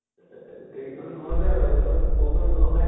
এ গোটেই কেইজন ঘৰতে আৰু । হʼলেও সৰু সুৰা ব্যৱসায় ।